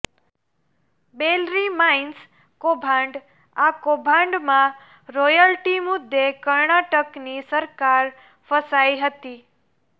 બેલરી mines કૌભાંડઃ આ કૌભાંડમાં રોયલટી મુદ્દે કર્ણાટકની સરકાર ફસાઇ હતી